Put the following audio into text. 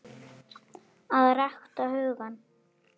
AÐ RÆKTA HUGANN